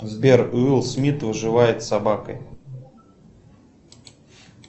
сбер уилл смит выживает с собакой